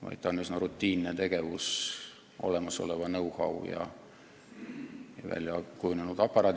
See on üsna rutiinne tegevus, kui olemas on know-how ja mingil määral väljakujunenud aparaat.